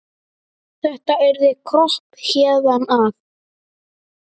Þetta yrði kropp héðan af.